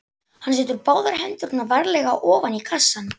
Hann setur báðar hendur varlega ofan í kassann.